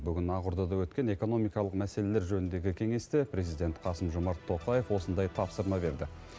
бүгін ақордада өткен экономикалық мәселелер жөніндегі кеңесте президент қасым жомарт тоқаев осындай тапсырма берді